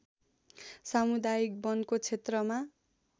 सामुदायिक वनको क्षेत्रमा